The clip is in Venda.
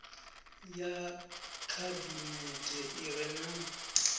ya khabinete i re na